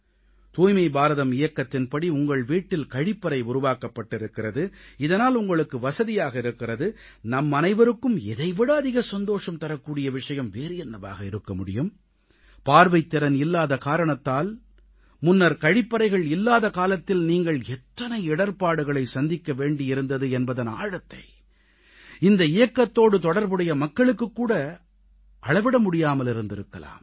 தூய்மை பாரதம் இயக்கத்தின்படி உங்கள் வீட்டில் கழிப்பறை உருவாக்கப்பட்டிருக்கிறது இதனால் உங்களுக்கு வசதியாக இருக்கிறது நம்மனைவருக்கும் இதைவிட அதிக சந்தோஷம் தரக்கூடிய விஷயம் வேறு என்னவாக இருக்க முடியும் பார்வைத்திறன் இல்லாத காரணத்தால் முன்னர் கழிப்பறைகள் இல்லாத காலத்தில் நீங்கள் எத்தனை இடர்ப்பாடுகளை சந்திக்க வேண்டியிருந்தது என்பதன் ஆழத்தை இந்த இயக்கத்தோடு தொடர்புடைய மக்களுக்குக்கூட அளவிட முடியாமலிருந்திருக்கலாம்